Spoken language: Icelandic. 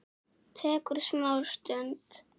Tekur smá stund.